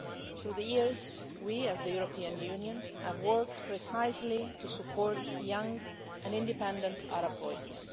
Through the years we, as the European Union, have worked precisely to support young and independent Arab voices.